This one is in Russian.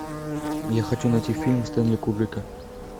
я хочу найти фильм стэнли кубрика